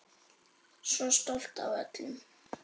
Svo stolt af öllum.